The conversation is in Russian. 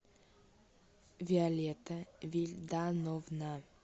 виолетта вильдановна